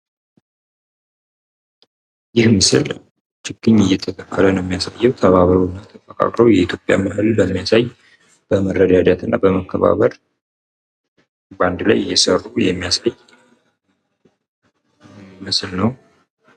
ይህ ምስል ችግኝ እየተተከሉ ፣ በአንድነትና በመረዳዳት እየተከሉ የሚያሳይ ምስል ነው።